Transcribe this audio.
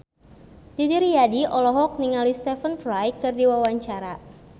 Didi Riyadi olohok ningali Stephen Fry keur diwawancara